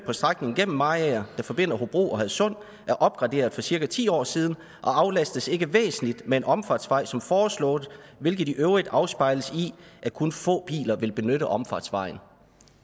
på strækningen gennem mariager der forbinder hobro og hadsund er opgraderet for cirka ti år siden og aflastes ikke væsentligt med en omfartsvej som foreslået hvilket i øvrigt afspejles i at kun få biler vil benytte omfartsvejen